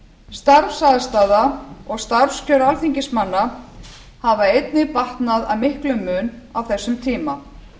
starfsaðstaða og starfskjör alþingismanna hafa einnig batnað að miklum mun á þessum tíma